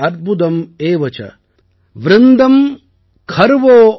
ஏகம் தசம் சதம் சைவ சஹஸ்ரம் அயுதம் ததா